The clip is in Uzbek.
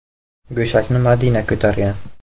Go‘shakni Madina ko‘targan.